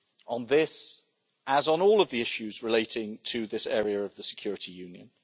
on this, as on all of the issues relating to this area of the security union.